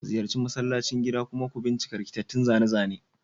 Ziyarci masallacin gida kuma ku bincika rikitattun zane-zane.